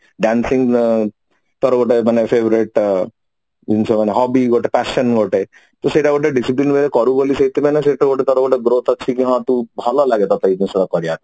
dancing ଅ ତୋର ଗୋଟେ ମାନେ favorite ଜିନିଷ ଗୋଟେ hobby ଗୋଟେ passion ଗୋଟେ କି ସେଇଟା ଗୋଟେ discipline କରିବୁ ବୋଲି ସେଟା ଗୋଟେ ତାର ଗୋଟେ growth ଅଛି ହଁ ତୁ ଭଲ ଲାଗେ ତତେ ବି ସେ ଜିନିଷ କରିବା ପାଇଁ